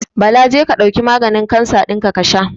Bala je ka ɗauki maganin kansa dinka kasha.